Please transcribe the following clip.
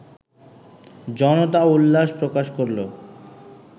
জনতা উল্লাস প্রকাশ করলো